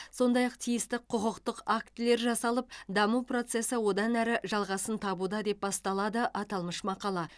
сондай ақ тиісті құқықтық актілер жасалып даму процесі одан әрі жалғасын табуда деп басталады аталмыш мақала